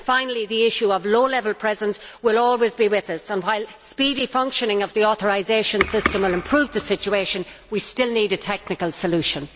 Finally, the issue of low level presence will always be with us, and, while speedy functioning of the authorisation system will improve the situation, we still need a technical solution.